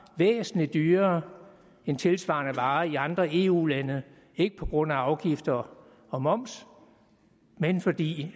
væsentlig dyrere end tilsvarende varer i andre eu lande ikke på grund af afgifter og moms men fordi